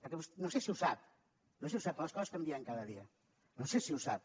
perquè no sé si ho sap però les coses canvien cada dia no sé si ho sap